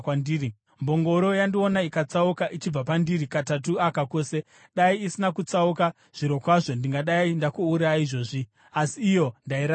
Mbongoro yandiona ikatsauka ichibva pandiri katatu aka kose. Dai isina kutsauka, zvirokwazvo ndingadai ndakuuraya izvozvi, asi iyo ndairaramisa.”